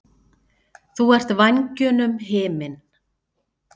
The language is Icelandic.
Þú ert vængjunum himinn.